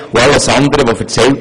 Auch Richter sind Politiker.